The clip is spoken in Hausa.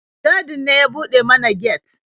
Mai gadin ne ya buɗe mana get.